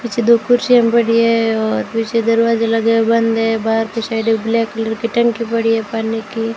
पीछे दो कुर्सियां पड़ी हैं और पीछे दरवाजे लगे हैं बंद है बाहर की साइड ब्लैक कलर की टंकी पड़ी है पानी की --